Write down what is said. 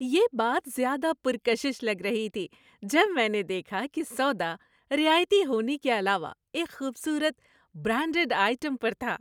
یہ بات زیادہ پرکشش لگ رہی تھی جب میں نے دیکھا کہ سودا رعایتی ہونے کے علاوہ ایک خوبصورت، برانڈڈ آئٹم پر تھا۔